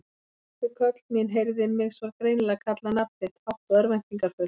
Hrökk upp við köll mín, heyrði mig svo greinilega kalla nafn þitt, hátt og örvæntingarfullt.